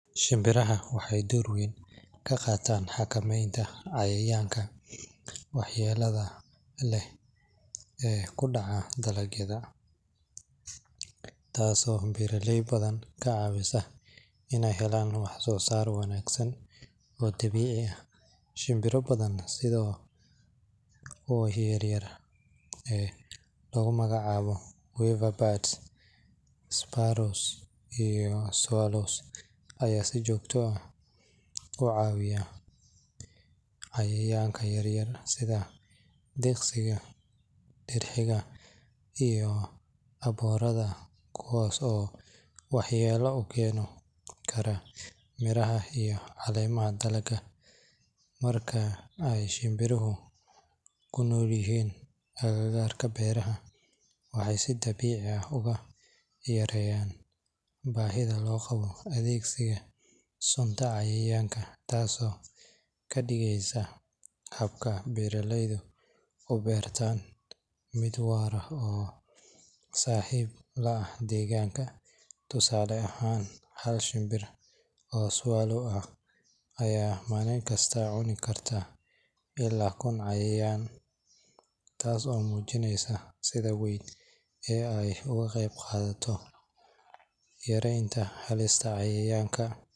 Shimbiraha waxay door weyn ka qaataan xakameynta cayayaanka waxyeelada leh ee ku dhaca dalagyada, taasoo beeraley badan ka caawisa iney helaan wax-soosaar wanaagsan oo dabiici ah. Shimbiro badan sida kuwa yaryar ee lagu magacaabo weaver birds, sparrows, iyo swallows ayaa si joogto ah u cunaya cayayaanka yaryar sida diqsiga, dirxiga, iyo aboorada kuwaas oo waxyeello ku keeni kara miraha iyo caleemaha dalagga. Marka ay shimbiruhu ku noolyihiin agagaarka beeraha, waxay si dabiici ah uga yareeyaan baahida loo qabo adeegsiga suntan cayayaanka, taasoo ka dhigaysa habka beeraleyda u beertaan mid waara oo saaxiib la ah deegaanka. Tusaale ahaan, hal shinbir oo swallow ah ayaa maalin kasta cuni kara ilaa kun cayayaan, taas oo muujinaysa sida weyn ee ay uga qayb qaataan yareynta halista cayayaanka.